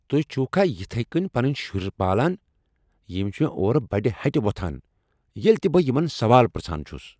تُہۍ چھِووكھا یتھٕے كٕنۍ پنٕنۍ شُرۍ پالان؟ یِم چھِ مےٚ اورٕ بڈِ ہٹہِ ووتھان ییلہِ تہِ بہٕ یمن سوال پرژھان چُھس ۔